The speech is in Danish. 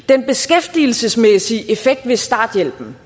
den beskæftigelsesmæssige effekt ved starthjælpen